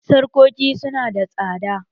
Sarƙoƙi su nada tsada.